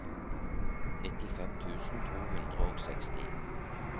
nittifem tusen to hundre og seksti